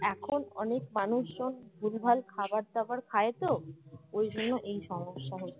এখন অনেক মানুষজন ভুলভাল খাবার দাবার খায় তো ওই জন্য এই সমস্যা হচ্ছে